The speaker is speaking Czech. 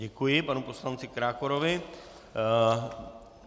Děkuji panu poslanci Krákorovi.